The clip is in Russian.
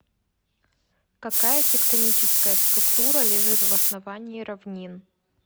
какая тектоническая структура лежит в основании равнин